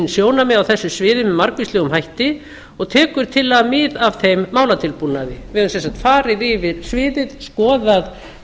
sjónarmið á þessu sviði með margvíslegum hætti og tekur tillagan mið af þeim málatilbúnaði við höfum sem sagt farið yfir sviðið skoðað